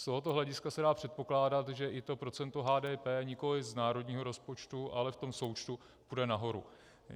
Z tohoto hlediska se dá předpokládat, že i to procento HDP nikoliv z národního rozpočtu, ale v tom součtu půjde nahoru.